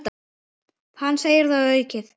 Hann segir það orðum aukið.